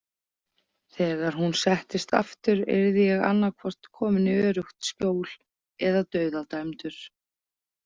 Þegar hún settist aftur yrði ég annaðhvort kominn í öruggt skjól eða dauðadæmdur.